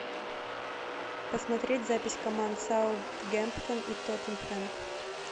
посмотреть запись команд саутгемптон и тоттенхэм